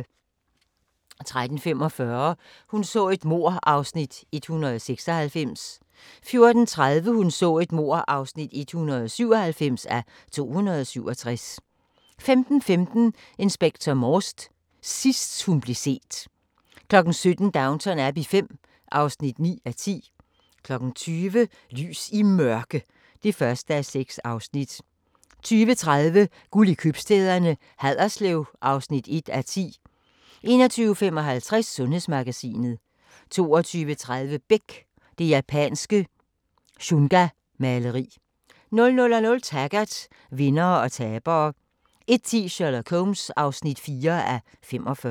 13:45: Hun så et mord (196:267) 14:30: Hun så et mord (197:267) 15:15: Inspector Morse: Sidst hun blev set 17:00: Downton Abbey V (9:10) 20:00: Lys i Mørke (1:6) 20:30: Guld i købstæderne: Haderslev (1:10) 21:55: Sundhedsmagasinet 22:30: Beck: Det japanske shungamaleri 00:00: Taggart: Vindere og tabere 01:10: Sherlock Holmes (4:45)